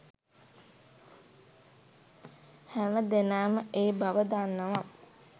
හැම දෙනාම ඒ බව දන්නවා.